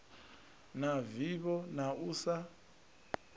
na vivho na u sa